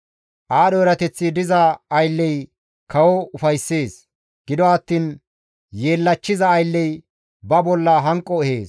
Aadho erateththi diza aylley kawo ufayssees; gido attiin yeellachchiza aylley ba bolla hanqo ehees.